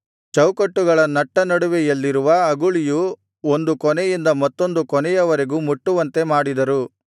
ಚೌಕಟ್ಟುಗಳ ನಟ್ಟನಡುವೆಯಲ್ಲಿರುವ ಅಗುಳಿಯು ಒಂದು ಕೊನೆಯಿಂದ ಮತ್ತೊಂದು ಕೊನೆಯವರೆಗೂ ಮುಟ್ಟುವಂತೆ ಮಾಡಿದರು